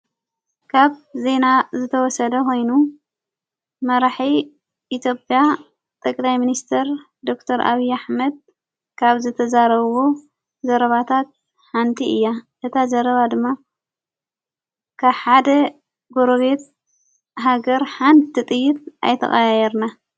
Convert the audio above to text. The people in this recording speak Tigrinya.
ካብ ዜና ዝተወሰለ ኾይኑ መራሒ ኢትዮጰያ ጠቅላይ ሚንስተር ዶክተር ኣብዪ ኣኅመድ ካብ ዘተዛረዉዎ ዘረባታት ሓንቲ እያ። እታ ዘረባ ድማ ካብ ሓደ ገሮቤት ሃገር ሓንቲ ጥይት ኣይተቓየርና።